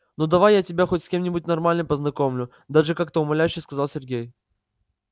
ну давай я тебя хоть с кем-нибудь нормальным познакомлю даже как-то умоляюще сказал сергей